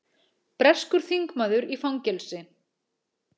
Orðið tölva er tiltölulega nýtt í málinu eða frá miðjum sjöunda áratugnum.